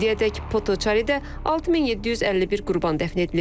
İndiyədək Potoçaridə 6751 qurban dəfn edilib.